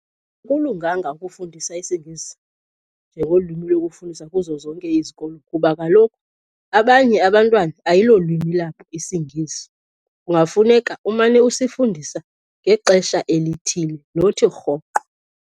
Akulunganga ukufundisa isiNgesi njengolwimi lokufundisa kuzo zonke izikolo kuba kaloku abanye abantwana ayilolwimi lwabo isiNgesi. Kungafuneka umane usifundisa ngexesha elithile, nothi rhoqo.